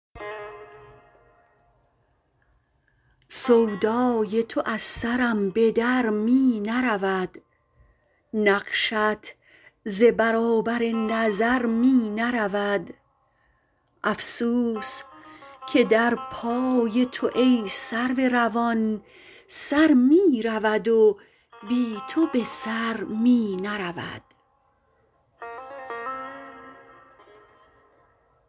سودای تو از سرم به در می نرود نقشت ز برابر نظر می نرود افسوس که در پای تو ای سرو روان سر می رود و بی تو به سر می نرود